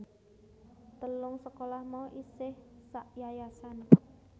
Telung sekolah mau isih sakyayasan